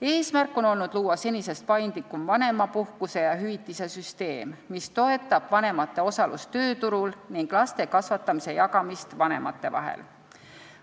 Eesmärk on olnud luua senisest paindlikum vanemapuhkuste ja -hüvitiste süsteem, mis toetab vanemate osalust tööturul ning laste kasvatamise jagamist vanemate vahel.